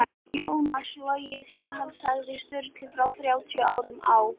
Jónas logið þegar hann sagði Sturlu fyrir þrjátíu árum á